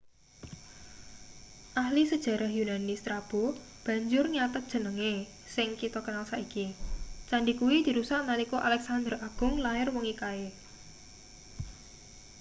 ahli sejarah yunani strabo banjur nyathet jenenge sing kita kenal saiki candhi kuwi dirusak nalika alexander agung lair wengi kae